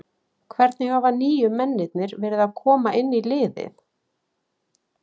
Hvernig hafa nýju mennirnir verið að koma inn í liðið?